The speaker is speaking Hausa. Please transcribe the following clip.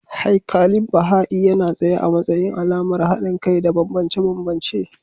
Haikalin Baha'i yana tsaye a matsayin alamar haɗin kai da bambance-bambance.